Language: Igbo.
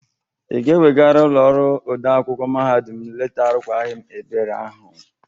Ị ga-ewegara ụlọ ọrụ ode akwụkwọ mahadum leta arụkwagi m Ebere ahụ?